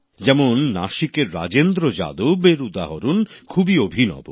যেমন নাসিকের রাজেন্দ্র যাদব এর উদাহরণ খুবই অভিনব